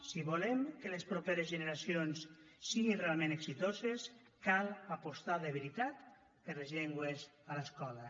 si volem que les properes generacions siguin realment exitoses cal apostar de veritat per les llengües a l’escola